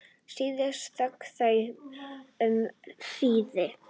Síðan þögðu þau um hríð.